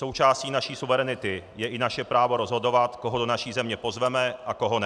Součástí naší suverenity je i naše právo rozhodovat, koho do naší země pozveme a koho ne.